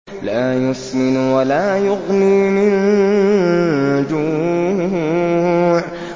لَّا يُسْمِنُ وَلَا يُغْنِي مِن جُوعٍ